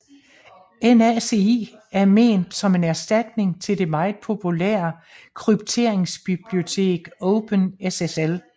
NaCl er ment som en erstatning til det meget populære krypteringsbibliotek OpenSSL